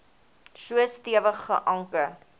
so stewig geanker